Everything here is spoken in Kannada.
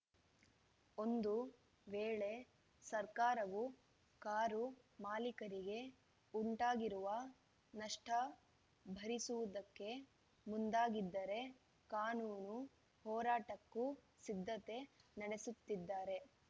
ಒಂದು ವೇಳೆ ಸರ್ಕಾರವು ಕಾರು ಮಾಲಿಕರಿಗೆ ಉಂಟಾಗಿರುವ ನಷ್ಟಭರಿಸುವುದಕ್ಕೆ ಮುಂದಾಗಿದ್ದರೆ ಕಾನೂನು ಹೋರಾಟಕ್ಕೂ ಸಿದ್ಧತೆ ನಡೆಸುತ್ತಿದ್ದಾರೆ